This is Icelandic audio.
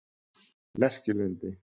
Lerkilundi